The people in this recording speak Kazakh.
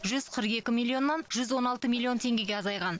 жүз қырық екі миллионнан жүз он алты миллион теңгеге азайған